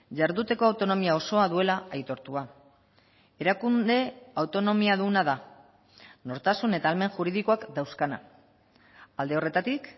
jarduteko autonomia osoa duela aitortua erakunde autonomiaduna da nortasun eta ahalmen juridikoak dauzkana alde horretatik